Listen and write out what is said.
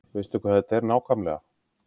Veistu hvað þetta er nákvæmlega?